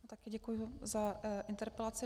Taky děkuji za interpelaci.